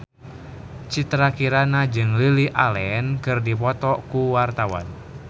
Citra Kirana jeung Lily Allen keur dipoto ku wartawan